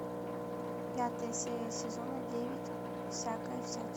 пятая серия сезона девять всякая всячина